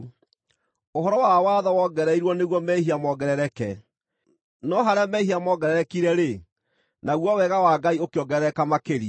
Ũhoro wa watho wongereirwo nĩguo mehia mongerereke. No harĩa mehia mongererekire-rĩ, naguo wega wa Ngai ũkĩongerereka makĩria,